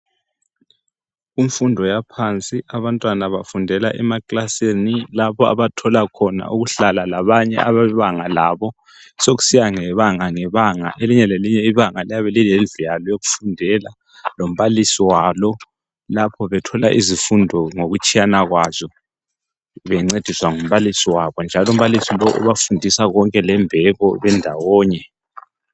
Kumfundo yaphansi abantwana bafundela emakilasini lapho abathola khona ukuhlala labanye abebanga labo sokusiya ngebanga lebanga. Elinye lelinye ibanga lalo liyabe lilndlu yalo yokufundela lombalisi wabo lapho bethola izifundo ngokutshiyana kwazo bencediswa ngumbalisi wabo njalo umbalisi lo ubafundisa lembeko bendawonye.